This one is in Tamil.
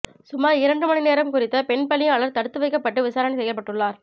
சுமார் இரண்டு மணிநேரம் குறித்த பெண் பணியாளர் தடுத்து வைக்கப்பட்டு விசாரணை செய்யப்பட்டுள்ளார்